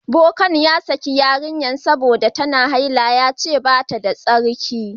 Bokan ya saki yarinyan sabida ta na haila. Ya ce bata da tsarki.